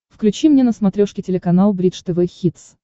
включи мне на смотрешке телеканал бридж тв хитс